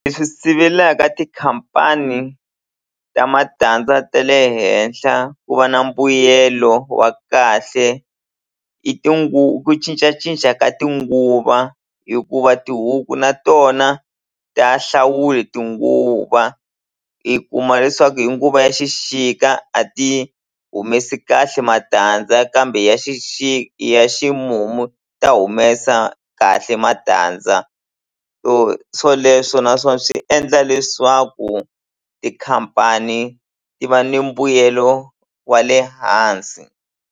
Leswi sivelaka tikhampani ta matandza ta le henhla ku va na mbuyelo wa kahle i ku cincacinca ka tinguva hikuva tihuku na tona ta hlawule tinguva i kuma leswaku hi nguva ya xixika a ti humesi kahle matandza kambe ya ya ximumu ta humesa kahle matandza so swoleswo naswona swi endla leswaku tikhampani ti va ni mbuyelo wa le hansi.